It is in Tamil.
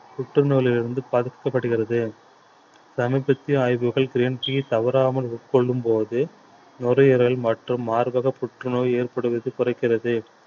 புற்று நோயிலிருந்து பாதிக்கப்படுகிறது சமீபத்திய ஆய்வுகள் green tea தவறாமல் உட்கொள்ளும் போது நுரையீரல் மற்றும் மார்பகப் புற்றுநோய் ஏற்படுவது குறைக்கிறது